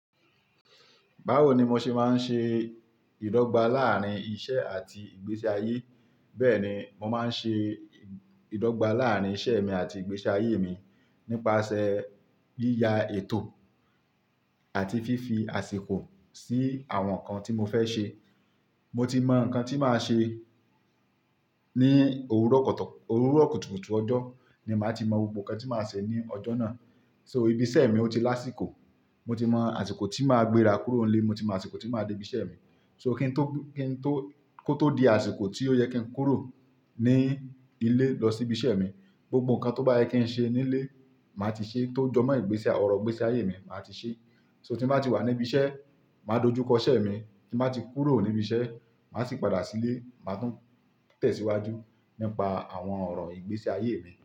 Báwo ni mo ṣe máa ń ṣe ìdọ́gba láàárín iṣẹ́ àti ìgbésí ayé? Bẹ́ẹ̀ni, mo máa ń ṣe ìdọ́gba láàárín iṣẹ́ mi àti ìgbésí ayé mi nípasẹ̀ yíya ètò àti fífi àsìkò sí àwọn nǹkan tí mo fẹ́ ṣe. Mo ti mọ nǹkan tí màá ṣe ní òwúrọ̀ kùtùkùtù ọjọ́ ni màá ti mọ gbogbo nǹkan tí màá ṣe ní ọjọ́ náà. So ibi iṣẹ́ mi ò tí láṣìkò, mo ti mọ àsìkò tí màá gbéra kúrò nílé, mo ti mọ àsìkò tí màá dé ibi iṣẹ́ mi. So kí n tó, kí n tó, kó tó di àsìkò tí ó yẹ kí n kúrò ní ilé lọ sí ibi iṣẹ́ mi, gbogbo nǹkan tó bá yẹ kí n ṣe nílé, màá ti ṣe é tó jọmọ́ ìgbésẹ́ ọ̀rọ̀ ìgbésí ayé mi, màá ti ṣe é. So tí màá ti wà ní ibi iṣẹ́, màá dojú kọ iṣẹ́ mi. Tí màá ti kúrò ní ibi iṣẹ́, màá sì padà sílé, màá tún tẹ̀síwájú nípa àwọn ọ̀rọ̀ ìgbésí ayé mi.